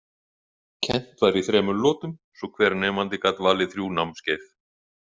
Kennt var í þremur lotum svo hver nemandi gat valið þrjú námskeið.